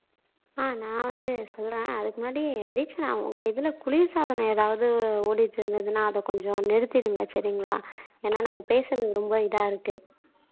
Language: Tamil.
ஆஹ் நான் வந்து சொல்றேன் அதுக்கு முன்னாடி தீக்ஷனா உங்க இதுல குளிர்சாதனம் ஏதாவது ஓடிட்டு இருந்ததுன்னா அத கொஞ்சம் நிறுத்திடுங்க சரிங்களா ஏன்னா நம்ம பேசுறது ரொம்ப இதா இருக்கு